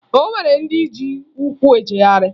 O nwere ndị ji ụkwụ ejegharị